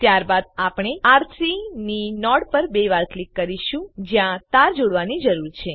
ત્યારબાદ આપણે આર3 ની નોડ પર બે વાર ક્લિક કરીશું જ્યાં તાર જોડવાની જરૂર છે